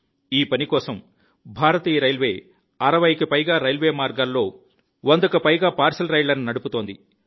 ఈ పని కోసం భారతీయ రైల్వే 60 కి పైగా రైల్వే మార్గాల్లో 100 కి పైగా పార్శిల్ రైళ్లను నడుపుతోంది